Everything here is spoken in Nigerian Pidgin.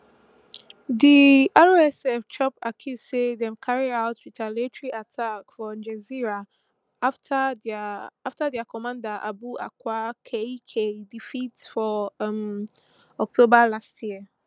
di rsf chop accuse say dem carry out retaliatory attacks for gezira afta dia afta dia commander abu aqla kaikal defect for um october last year